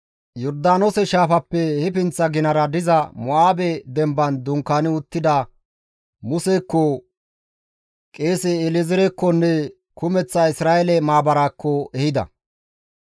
Yordaanoose shaafappe he pinththa ginara diza Mo7aabe demban dunkaani uttida Musekko, qeese El7ezeerekkonne kumeththa Isra7eele maabaraakko ehida.